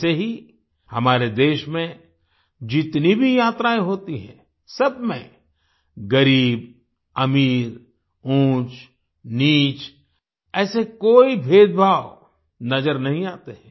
ऐसे ही हमारे देश में जितनी भी यात्राएं होती हैं सबमें गरीबअमीर ऊंचनीच ऐसे कोई भेदभाव नजर नहीं आते